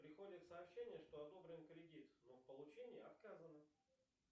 приходят сообщения что одобрен кредит но в получении отказано